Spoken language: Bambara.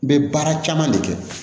N bɛ baara caman de kɛ